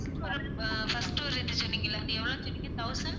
first ஒரு rate சொன்னிங்கல அது எவ்வளவு சொன்னிங்க thousand